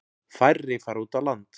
Færri fara út á land.